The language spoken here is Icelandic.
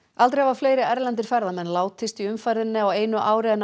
aldrei hafa fleiri erlendir ferðamenn látist í umferðinni á einu ári en